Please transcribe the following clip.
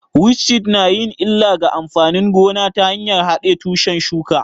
Witchweed na yin illa ga amfanin gona ta hanyar haɗe tushen shuka